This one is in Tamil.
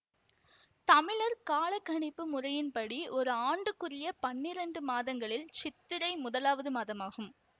தமிழர் காலக்கணிப்பு முறையின்படி ஒரு ஆண்டுக்குரிய பன்னிரெண்டு மாதங்களில் சித்திரை முதலாவது மாதமாகும்